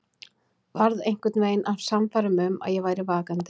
Varð einhvern veginn að sannfæra mig um að ég væri vakandi.